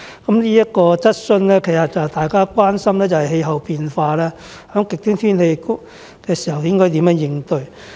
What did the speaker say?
至於這項質詢，大家關心的是氣候變化，以及在出現極端天氣時應如何應對。